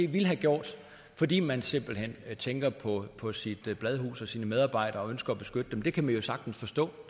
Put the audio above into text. ville have gjort fordi man simpelt hen tænker på på sit bladhus og sine medarbejdere og ønsker at beskytte dem det kan man jo sagtens forstå